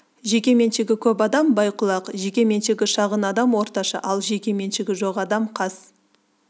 жеке меншігі көп адам бай-құлақ жеке меншігі шағын адам орташа ал жеке меншігі жоқ адам қас